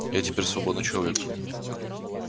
я теперь свободный человек